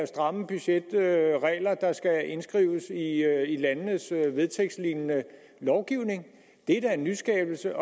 stramme budgetregler der skal indskrives i landenes vedtægtslignende lovgivning det er da en nyskabelse